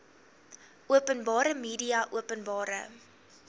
openbare media openbare